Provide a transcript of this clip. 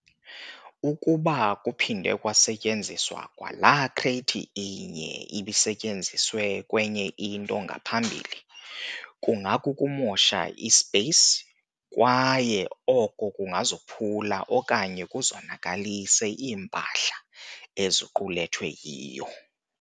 Ukuba kuphindwe kwasetyenziswa kwalaa-crate inye ibisetyenziswe kwenye into ngaphambili, kungakukumosha i-space, kwaye oko kungazophula okanye kuzonakalise iimpahla eziqulethwe yiyo.